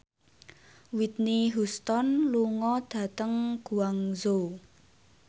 Whitney Houston lunga dhateng Guangzhou